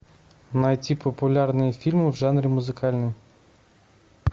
найти популярные фильмы в жанре музыкальный